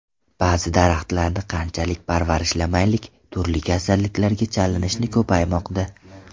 Ba’zi daraxtlarni qanchalik parvarishlamaylik, turli kasalliklarga chalinishi ko‘paymoqda.